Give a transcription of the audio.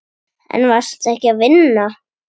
En varstu ekki að vinna?